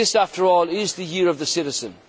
that. This, after all, is the year of the